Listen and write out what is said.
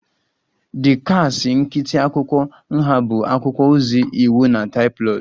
The kasị nkịtị akwụkwọ nha bụ akwụkwọ ozi, iwu na tabloid